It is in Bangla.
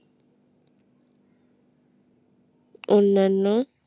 অন্যান্য